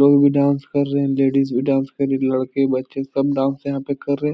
लोग भी डांस कर रहे लेडीज भी कर रही लड़के बच्चे सब डांस यहां पे कर रहें हैं।